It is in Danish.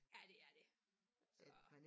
Ja det er det så